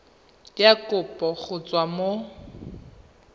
ya kopo go tswa mo